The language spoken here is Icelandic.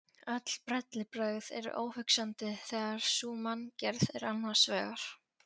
Öll bellibrögð eru óhugsandi þegar sú manngerð er annars vegar.